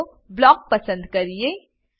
ચાલો બ્લોક પસંદ કરીએ